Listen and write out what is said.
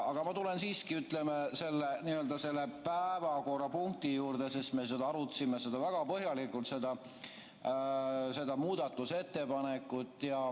Aga ma tulen siiski selle päevakorrapunkti juurde, sest me arutasime väga põhjalikult seda muudatusettepanekut.